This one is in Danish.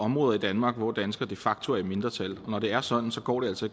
områder i danmark hvor danskere de facto er i mindretal når det er sådan går det altså